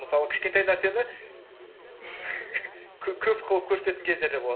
мысалы кішкентай нәрсені көп қылып көрсететін кездер де болады